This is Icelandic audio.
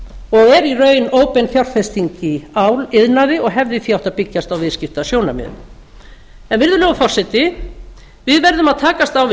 og er í raun óbein fjárfesting í áliðnaði og hefði því átt að byggjast á viðskiptasjónarmiðum virðulegur forseti við verðum að takast á við